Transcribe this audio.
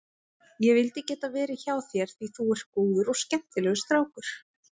Ég vildi geta verið hjá þér því þú ert góður og skemmtilegur strákur.